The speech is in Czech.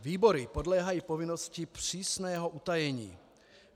Výbory podléhají povinnosti přísného utajení.